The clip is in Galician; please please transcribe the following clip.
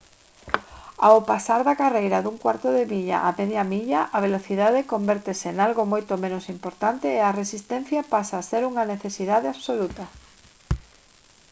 ao pasar da carreira dun cuarto de milla á media milla a velocidade convértese en algo moito menos importante e a resistencia pasa a ser unha necesidade absoluta